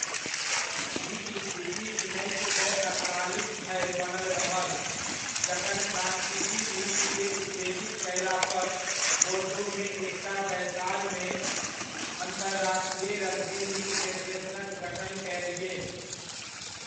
ई स्थिति उन्नैस सए अड़तालीस धरि बनल रहल जखन फ्रांसीसी लीग के उत्तेजित कयला पर बोर्दोमे एकटा बैसारमे अंतर्राष्ट्रीय रग्बी लीग फेडरेशनक गठन कयल गेल।